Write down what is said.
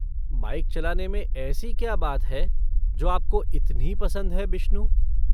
Bike चलाने में ऐसी क्या बात है जो आपको इतनी पसंद है, बिश्नू?